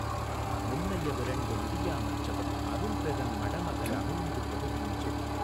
முன்னைய விரண்டு முடியா மற்றவன் அரும்பெறன் மடமக ளமிழ்ந்துபடு தீஞ்சொல்